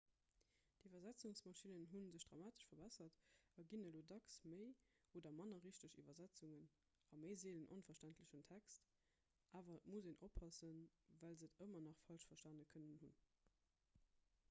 d'iwwersetzungsmaschinnen hu sech dramatesch verbessert a ginn elo dacks méi oder manner richteg iwwersetzungen a méi seelen onverständlechen text awer et muss een oppassen well se et ëmmer nach falsch verstane kënnen hunn